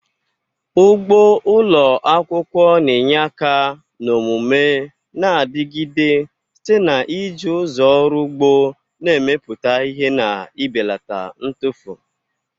Ugbo ụlọ akwụkwọ na-enye aka na omume na-adigide site n'iji ụzọ ọrụ ugbo na-emepụta ihe na ibelata ntufu.